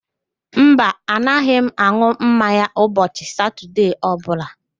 Mba, anaghị m an̄ụ mmanya ụbọchị Satọde ọbụla